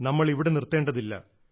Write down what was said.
നമ്മൾ ഇവിടെ നിർത്തേണ്ടതില്ല